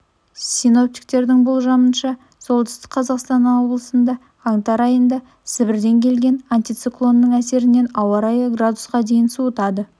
синоптиктердің болжамынша солтүстік қазақстан облысында қаңтар айында сібірден келген антициклонның әсерінен ауа райы градусқа дейін суытады